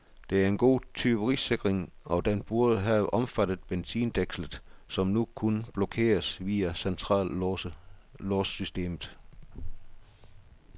Det er en god tyverisikring, og den burde have omfattet benzindækslet, som nu kun blokeres via centrallåssystemet.